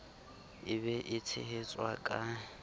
e be e tshehetswe ka